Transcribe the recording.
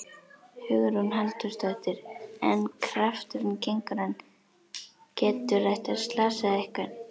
Hugrún Halldórsdóttir: En krafturinn, getur hann, getur þetta slasað einhvern?